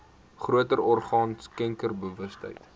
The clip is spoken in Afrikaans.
groter orgaan skenkersbewustheid